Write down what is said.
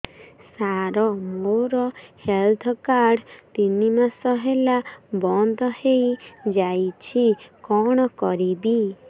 ସାର ମୋର health card ତିନି ମାସ ହେଲା ବନ୍ଦ ହେଇଯାଇଛି କଣ କରିବି